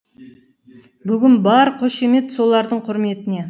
бүгін бар қошемет солардың құрметіне